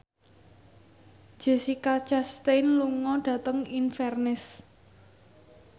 Jessica Chastain lunga dhateng Inverness